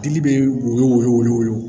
Tigi bɛ woyo woyo